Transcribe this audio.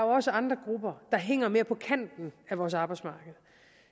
også andre grupper der hænger mere på kanten af vores arbejdsmarked og